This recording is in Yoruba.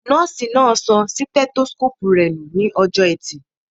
Nọ́ọ̀sì náà sọ sítẹ́tósíkóòpù rẹ nù ní ọjọ́ọ ẹtì